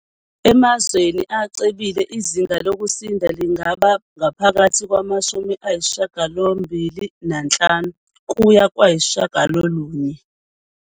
Emazweni acebile, izinga lokusinda lingaba phakathi kwama-85 kuya kuma-90.